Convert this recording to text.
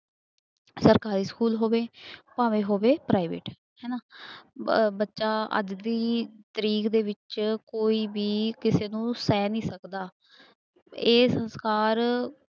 ਸਰਕਾਰੀ ਸਕੂਲ ਹੋਵੇ ਭਾਵੇਂ ਹੋਵੇ private ਹਨਾ ਅਹ ਬੱਚਾ ਅੱਜ ਦੀ ਤਰੀਕ ਦੇ ਵਿੱਚ ਕੋਈ ਵੀ ਕਿਸੇ ਨੂੰ ਸਹਿ ਨੀ ਸਕਦਾ, ਇਹ ਸੰਸਕਾਰ